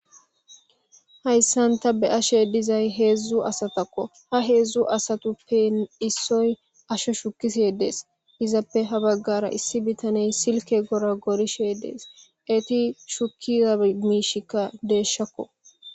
hayssanta be ashe dizay heedzdzu asatakko ha heedzdzu asatu ppe issoy asho shukise dees izappe ha baggara issi bitaney silke gora gorishe dees eti shukkiamiishikka deeshakko